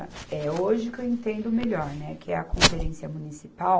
É hoje que eu entendo melhor, né, que é a conferência municipal,